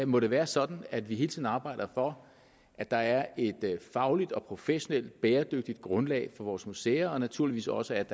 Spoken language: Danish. må det være sådan at vi hele tiden arbejder for at der er et fagligt og professionelt bæredygtigt grundlag for vores museer og naturligvis også